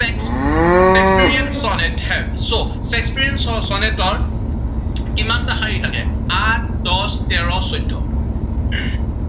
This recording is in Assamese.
shakespeare sonnet has, so shakespeare sonnet ৰ কিমানটা শাৰী থাকে, আঠ দহ তেৰ চৈধ্য়,